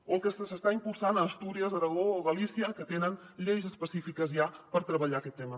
o el que s’està impulsant a astúries aragó o galícia que tenen lleis específiques ja per treballar aquest tema